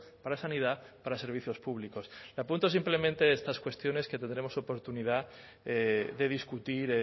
para sanidad para servicios públicos le apunto simplemente estas cuestiones que tendremos oportunidad de discutir